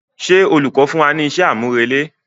Ṣé olùkọ́ fún wa ní iṣẹ́ àmúrelé?